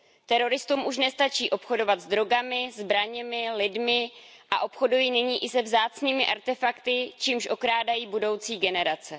Teroristům už nestačí obchodovat s drogami, zbraněmi, lidmi a obchodují nyní i se vzácnými artefakty, čímž okrádají budoucí generace.